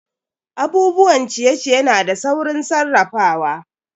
Abubuwan ciye-ciye na da saurin sarrafawa.